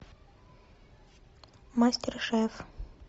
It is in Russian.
мастер шеф